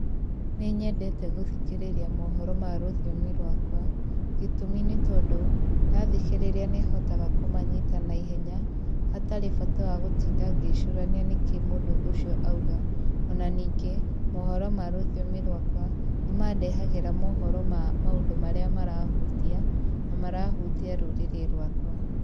Nĩnyendete gũthikĩrĩria mohoro ma rũthiomi rwakwa, gĩtũmi nĩ tondũ ndathikĩrĩria nĩhotaga kũmanyita na ihenya, hatarĩ bata wa gũtinda ngĩcũrania nĩkĩĩ mũndũ ũcio auga, ona ningĩ mohoro ma rũthiomi rwakwa nĩmandehagĩra mohoro ma maũndũ marĩa marahũtia, na marahũtia rũrĩrĩ rwakwa.